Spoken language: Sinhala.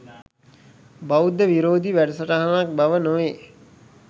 බෞද්ධ විරෝධී වැඩසටහනක් බව නොවේ.